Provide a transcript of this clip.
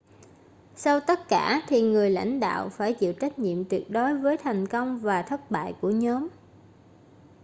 sau tất cả thì người lãnh đạo phải chịu trách nhiệm tuyệt đối với thành công và thất bại của nhóm